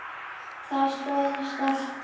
Það stóðst alltaf.